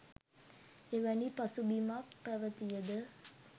එවැනි පසුබිමක් පැවතිය ද